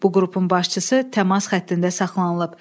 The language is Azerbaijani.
Bu qrupun başçısı təmas xəttində saxlanılıb.